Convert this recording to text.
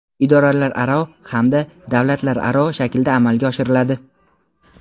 idoralararo hamda davlatlararo shaklda amalga oshiriladi.